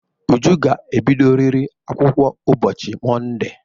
Uju ga-ebidoriri akwụkwọ ụbọchị Monde!